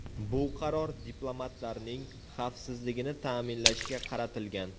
Bu qaror diplomatlarning xavfsizligini ta’minlashga qaratilgan.